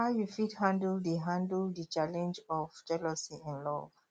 how you fit handle di handle di challenge of jealousy in love